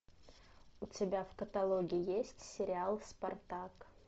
у тебя в каталоге есть сериал спартак